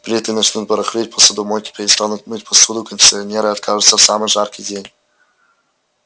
плиты начнут барахлить посудомойки перестанут мыть посуду кондиционеры откажут в самый жаркий день